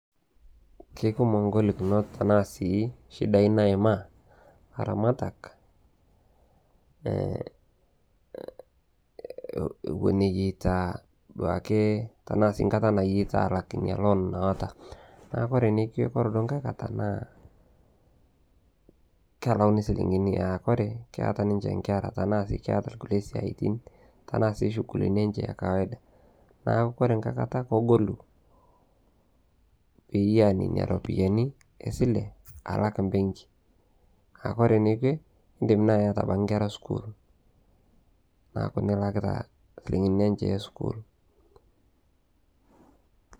Kekumok ngolikinot tanaa sii shidai naimaa ilaramatak, ewen eyeita duake tanaa sii nkata nayeita aalak inia loon naata. Naaku ore nekwe, ore ngae kata naa kelauni silingini aa kore keata ninche inkera tanaa keeta kukie siatin, tanaa sii sugulini enche ekawaida, naaku kore ngae kata kegolu piyaa nena iropiyiani esile alak imbenki. Naaku kore nekwe indim nai ieta abaki nkera esukuul, naaku nilakita silingini enche esukuul.